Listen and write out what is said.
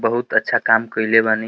बहुत अच्छा काम कइले बानी।